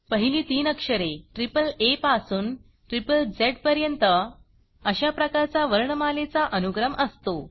पहिली तीन अक्षरे आ पासून झ्झ पर्यंत अशा प्रकारचा वर्णमालेचा अनुक्रम असतो